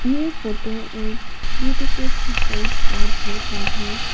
ये फोटो एक beautiful sea side parkway का है।